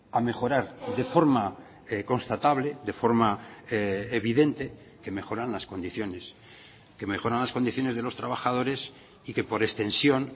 a mejorar de forma constatable de forma evidente que mejoran las condiciones que mejoran las condiciones de los trabajadores y que por extensión